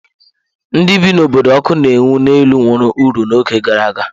Ndị bi n'obodo ọkụ na-enwu n'elu nwere uru n'oge gara aga.